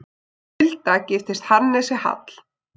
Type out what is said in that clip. Hulda giftist Hannesi Hall.